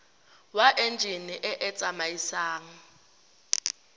wa enjine e e tsamaisang